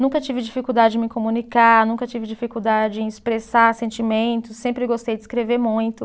Nunca tive dificuldade em me comunicar, nunca tive dificuldade em expressar sentimentos, sempre gostei de escrever muito.